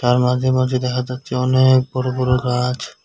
তার মাঝে মাঝে দেখা যাচ্ছে অনেক বড়ো বড়ো গাছ।